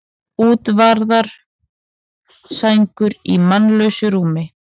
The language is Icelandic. Útvaðnar sængur í mannlausu rúmi.